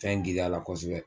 Fɛn girinya la kosɛbɛ